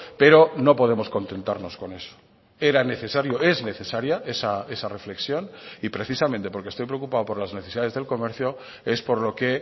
pero no podemos contentarnos con eso era necesario es necesaria esa reflexión y precisamente porque estoy preocupado por las necesidades del comercio es por lo que